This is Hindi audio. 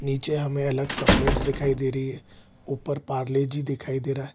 नीचे हमें अलग चॉकलेट्स दिखाई दे रही है ऊपर पारले जी दिखाई दे रहा है।